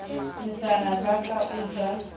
mesana ba ka o ja